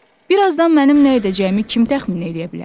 Birazdan mənim nə edəcəyimi kim təxmin eləyə bilər?